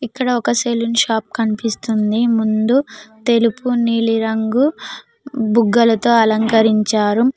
ఇక్కడ ఒక salon shop కనిపిస్తుంది ముందు తెలుపు నీలి రంగు బుగ్గల తో అలంకరించారు.